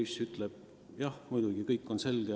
" Ja poiss ütleb: "Jah, muidugi, kõik on selge.